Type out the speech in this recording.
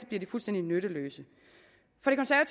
bliver de fuldstændig nytteløse